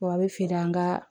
a bɛ feere an ka